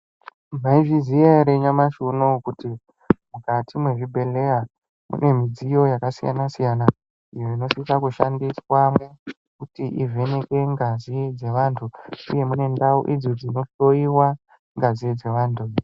Mwaizviziya ere nyamashi unouwu kuthi mukati mwezvibhedhleya mune midziyo yakasiyanasiyana iyo inosise kushandiswamo kuthi ivheneke ngazi dzevanthu uye mune ndau idzo dzonohloiwa ngazi dzevanthu idzi.